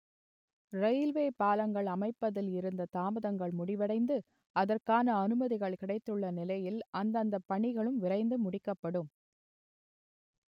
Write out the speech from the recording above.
railway பாலங்கள் அமைப்பதில் இருந்த தாமதங்கள் முடிவடைந்து அதற்கான அனுமதிகள் கிடைத்துள்ள நிலையில் அந்தந்த பணிகளும் விரைந்து முடிக்கப்படும்